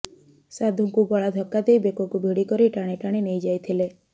ସାଧୁଙ୍କୁ ଗଳା ଧକ୍କା ଦେଇ ବେକକୁ ଭିଡ଼ି ଧରି ଟାଣି ଟାଣି ନେଇଯାଇଥିଲେ